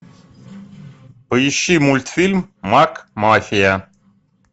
поищи мультфильм макмафия